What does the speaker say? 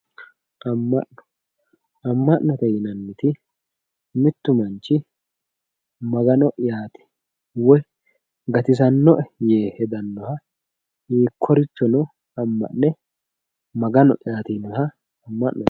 Ama'no, ama'note yinanniti mitu manchi Magano'yati woyi gatisanoe yee hedanoha hiikkorichono ama'ne Maga'no'yati yaa ama'note.